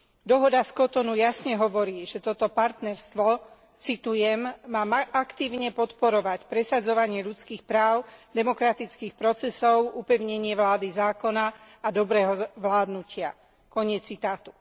Dohoda z Cotonou jasne hovorí, že toto partnerstvo citujem má aktívne podporovať presadzovanie ľudských práv, demokratických procesov, upevnenie vlády zákona a dobrého vládnutia koniec citátu.